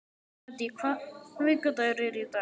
Maddý, hvaða vikudagur er í dag?